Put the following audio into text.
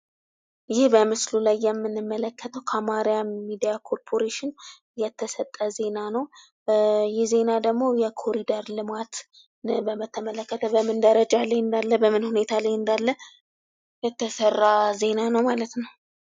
ይሄ በምስሉ ላይ የምንመለከተው ከአማራ ሚዲያ ኮርፖሬሽን የተሰጠ ዜና ነው። ይህ ዜና ደግሞ የኮሪደር ልማት በተመለከተ በምን ደረጃ ላይ እንዳለ በምን ሁኔታ ላይ እንዳለ የተሰራ ዜና ነው ማለት ነው።